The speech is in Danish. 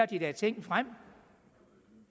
de lagde ting frem